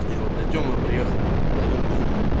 я вот до тёмы приехал тут половинку ему